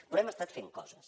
però hem estat fent coses